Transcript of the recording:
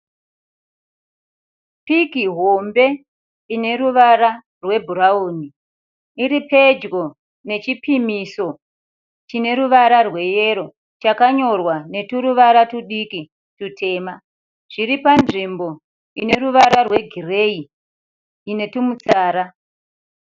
Piki hombe ine ruvara rwebhurauni iri pedyo nechipimiso chine ruvara rweyero chakanyorwa neturuvara tudiki tutema zviripa nzvimbo ine ruvara rwegireyi inetumi tsara.